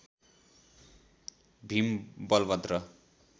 Bhim Balbhadra